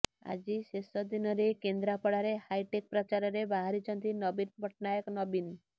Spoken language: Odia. ଆଜି ଶେଷ ଦିନରେ କେନ୍ଦ୍ରାପଡ଼ାରେ ହାଇଟେକ୍ ପ୍ରଚାରରେ ବାହାରିଛନ୍ତି ନବୀନ ପଟ୍ଟନାୟକ ନବୀନ